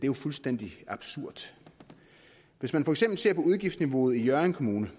jo fuldstændig absurd hvis man for eksempel ser på udgiftsniveauet i hjørring kommune